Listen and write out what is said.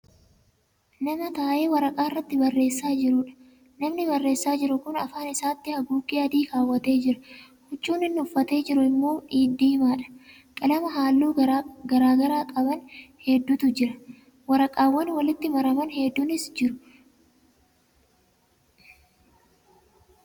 Nama taa'ee waraqaarratti barreessaa jiruudha. namni barreessaa jiru Kuni afaan isaatti haguuggee adii keewwatee Jira. huccuun inni uffatee jiru immoo diimaadha. qalama halluu garagaraa qaban hedduutu bira jira. waraqaawwan walitti maraman hedduunis jitu. qunnnaan migiraan hodhames Jira.